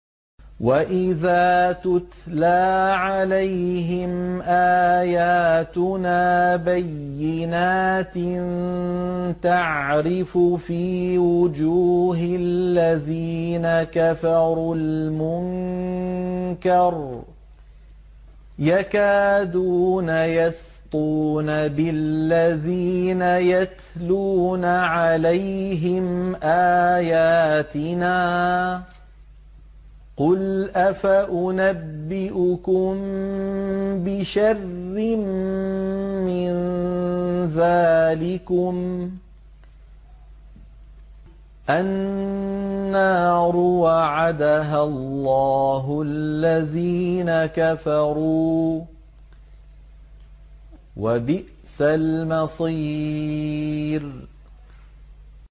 وَإِذَا تُتْلَىٰ عَلَيْهِمْ آيَاتُنَا بَيِّنَاتٍ تَعْرِفُ فِي وُجُوهِ الَّذِينَ كَفَرُوا الْمُنكَرَ ۖ يَكَادُونَ يَسْطُونَ بِالَّذِينَ يَتْلُونَ عَلَيْهِمْ آيَاتِنَا ۗ قُلْ أَفَأُنَبِّئُكُم بِشَرٍّ مِّن ذَٰلِكُمُ ۗ النَّارُ وَعَدَهَا اللَّهُ الَّذِينَ كَفَرُوا ۖ وَبِئْسَ الْمَصِيرُ